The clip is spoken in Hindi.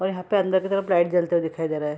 और यहां पर अंदर के तरफ लाइट जलते हुए दिखाई दे रहा है।